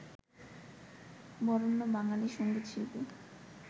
Barenya Bengali সঙ্গীতশিল্পী